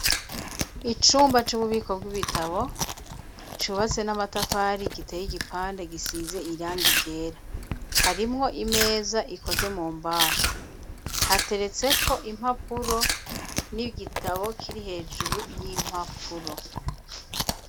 Icumba c'ububiko bw'ibitabo cubatse n'amatafari giteye igipande gisize irangi ryera harimwo imeza ikoze mu mbaho hateretse ko impapuro n'igitabo kiri hejuru y'impapuro.